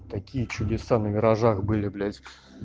такие чудеса на виражах были блять